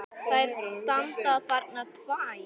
Þær standa þarna tvær!